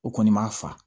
O kɔni ma fa